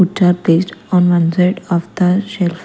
Which are placed on one side of the shelf.